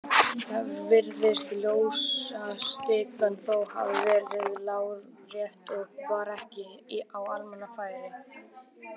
Þar virðist ljósastikan þó hafa verið lárétt og var ekki á almannafæri.